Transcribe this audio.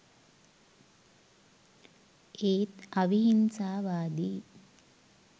ඒත් අවිහිංසාවාදී